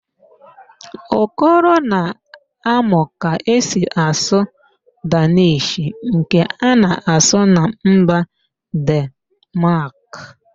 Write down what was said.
Okoro na-amụ ka esi asụ Dannish nke a na-asụ na mba Denmaak